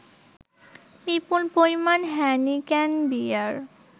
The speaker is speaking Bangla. বিপুল পরিমাণ হ্যানিক্যান বিয়ার